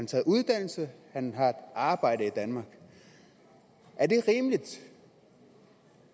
taget uddannelse og han har et arbejde i danmark er det rimeligt